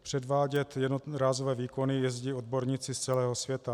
Předvádět jednorázové výkony jezdí odborníci z celého světa.